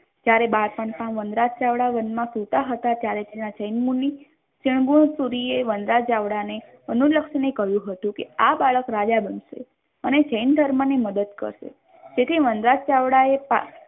ત્યારે બાળપણમાં વનરાજ ચાવડા વનમાં સુતા હતા ત્યારે તેના જૈન મુનિ ક્રુનમૂલ ગીરીએ વનરાજ ચાવડાને અનુલક્ષીને કહ્યું હતું કે આ બાળક રાજા બનશે અને જૈન ધર્મની મદદ કરશે તેથી વનરાજ ચાવડાએ